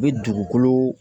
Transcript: U bɛ dugukolo